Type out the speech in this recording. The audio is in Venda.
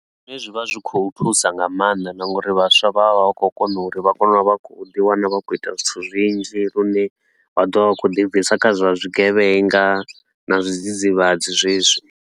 Zwine zwi vha zwi khou thusa nga maanḓa na nga uri vhaswa vha vha vha khou kona uri vha kone u vha vha khou ḓi wana vha khou ita zwithu zwinzhi, lune vha ḓo vha vha khou ḓi bvisa kha zwa zwigevhenga na zwidzidzivhadzi zwezwi.